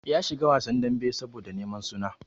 Ya shiga wasan dambe saboda neman suna.